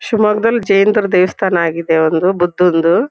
ಶಿಮೊಗ್ಗ ದಲ್ ಜೈನ್ರ ದೇವಸ್ಥಾನ ಆಗಿದೆ ಅಂದ್ರೆ ಬುದ್ದಂದು --